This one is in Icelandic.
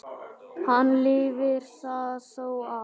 Hann lifir það þó af.